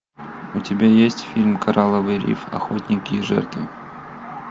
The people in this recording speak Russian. у тебя есть фильм коралловый риф охотники и жертвы